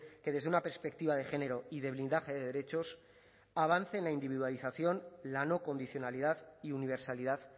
que desde una perspectiva de género y de blindaje de derechos avance en la individualización la no condicionalidad y universalidad